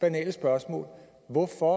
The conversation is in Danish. banale spørgsmål hvorfor